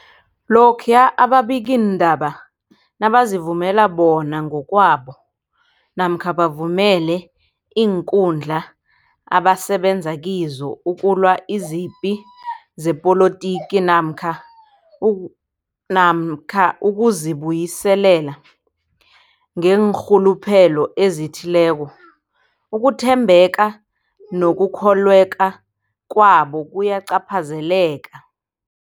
Lokhuya ababikiindaba nabazivumela bona ngokwabo namkha bavumele iinkundla abasebenza kizo ukulwa izipi zepolitiki namkha u namkha ukuzi buyiselela ngeenrhuluphelo ezithileko, ukuthembeka nokukholweka kwabo kuyacaphazeleka.